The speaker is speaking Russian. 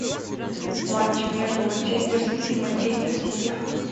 матч между манчестер сити и манчестер сити